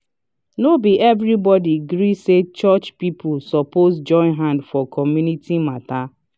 no be everybody gree say church people suppose join hand for community matter.